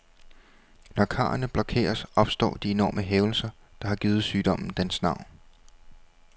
Når karrene blokeres, opstår de enorme hævelser, der har givet sygdommen dens navn.